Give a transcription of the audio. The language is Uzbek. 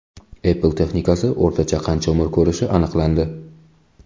Apple texnikasi o‘rtacha qancha umr ko‘rishi aniqlandi.